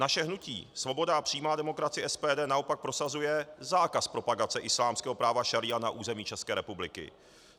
Naše hnutí Svoboda a přímá demokracie, SPD, naopak prosazuje zákaz propagace islámského práva šaría na území České republiky.